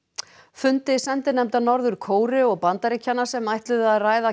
fundi sendinefnda Norður Kóreu og Bandaríkjanna sem ætluðu að ræða